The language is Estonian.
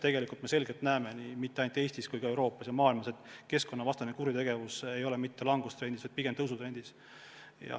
Tegelikult me näeme selgelt, et mitte ainult Eestis ja kogu Euroopas, vaid ka mujal maailmas ei ole keskkonnakuritegevus mitte langustrendis, vaid pigem tõusutrendis.